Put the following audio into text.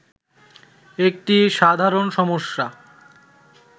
একটি সাধারণ সমস্যা